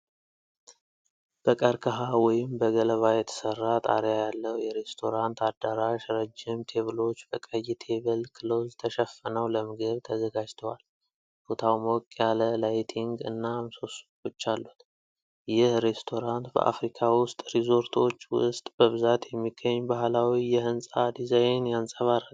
በቀርከሃ ወይም በገለባ የተሰራ ጣሪያ ያለው የሬስቶራንት አዳራሽ ረጅም ቴብሎች በቀይ ቴብል ክሎዝ ተሸፍነው ለምግብ ተዘጋጅተዋል። ቦታው ሞቅ ያለ ላይቲንግ እና ምሰሶዎች አሉት። ይህ ሬስቶራንት በአፍሪካ ውስጥ ሪዞርቶች ውስጥ በብዛት የሚገኝ ባህላዊ የህንፃ ዲዛይን ያንፀባርቃል?